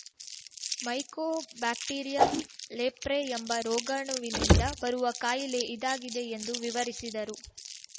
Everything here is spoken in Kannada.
ಮೈಕೋ ಬ್ಯಾಕ್ಟೇರಿಯಂ ಲೆಪ್ರೆ ಎಂಬ ರೋಗಾಣುವಿನಿಂದ ಬರುವ ಕಾಯಿಲೆ ಇದಾಗಿದೆ ಎಂದು ವಿವರಿಸಿದರು